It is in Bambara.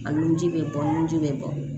A nun ji bɛ bɔ nunji bɛ bɔ